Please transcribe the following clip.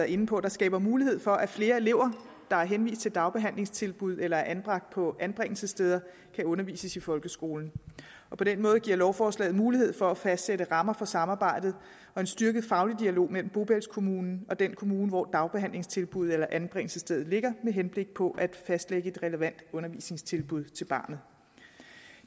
inde på der skaber mulighed for at flere elever der er henvist til dagbehandlingstilbud eller er anbragt på anbringelsessteder kan undervises i folkeskolen på den måde giver lovforslaget mulighed for at fastsætte rammer for samarbejdet og en styrket faglig dialog mellem bopælskommunen og den kommune hvor dagbehandlingstilbuddet eller anbringelsesstedet ligger med henblik på at fastlægge et relevant undervisningstilbud til barnet